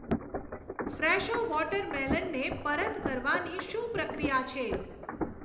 Fresho water મેલનને પરત કરવાની શું પ્રક્રિયા છે?